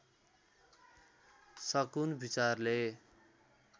सकुन विचारले